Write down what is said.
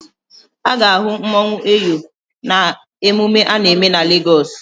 A ga-ahụ mmanwụ Eyo na-emume a na-eme na Legọs.